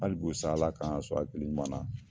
Halibikosa ALA k'an sɔn hakili ɲuman na.